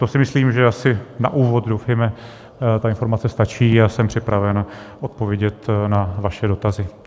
To si myslím, že asi na úvod, doufejme, ta informace, stačí a jsem připraven odpovědět na vaše dotazy.